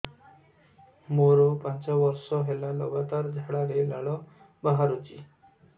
ମୋରୋ ପାଞ୍ଚ ବର୍ଷ ହେଲା ଲଗାତାର ଝାଡ଼ାରେ ଲାଳ ବାହାରୁଚି